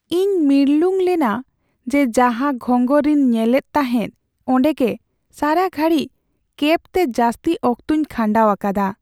ᱤᱧ ᱢᱤᱨᱞᱩᱝ ᱞᱮᱱᱟ ᱡᱮ ᱡᱟᱸᱦᱟ ᱜᱷᱸᱜᱚᱨ ᱨᱤᱧ ᱧᱮᱞᱮᱫ ᱛᱟᱦᱮᱸ ᱚᱰᱮᱸ ᱜᱮ ᱥᱟᱨᱟ ᱜᱷᱟᱹᱲᱤᱡ ᱠᱮᱹᱵ ᱛᱮ ᱡᱟᱹᱥᱛᱤ ᱚᱠᱛᱚᱧ ᱠᱷᱟᱸᱰᱟᱣ ᱟᱠᱟᱫᱟ ᱾